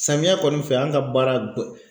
Samiya kɔni fɛ an ka baara